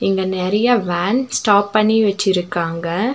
இங்க நறைய van stop பண்ணி வச்சிருக்காங்க.